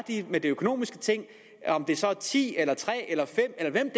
er med de økonomiske ting om det så er ti eller tre eller fem eller